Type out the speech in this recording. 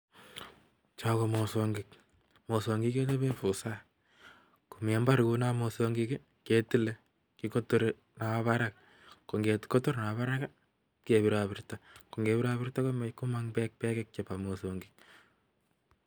Cho komosongogik, mososngokik kechopee busaaa. komi mbar kunoo mososngogik iii, ketile kikototri napa parak .ko ngekotor napaparak ngepirto komang bek bek chepo mososngokik.